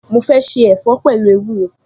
Mo se ẹ̀fọ́ pẹ̀lú ewúro